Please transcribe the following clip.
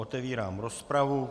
Otevírám rozpravu.